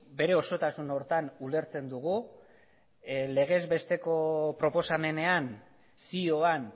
bere osotasun horretan ulertzen dugu legez besteko proposamenean zioan